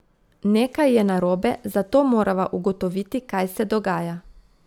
Nekaj je narobe, zato morava ugotoviti, kaj se dogaja.